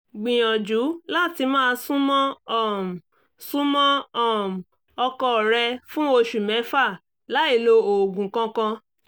gbìyànjú láti máa súnmọ́ um súnmọ́ um ọkọ rẹ̀ fún oṣù mẹ́fà láìlo oògùn kankan